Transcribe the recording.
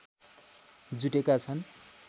जुटेका छन्